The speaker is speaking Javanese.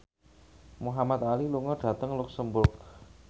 Muhamad Ali lunga dhateng luxemburg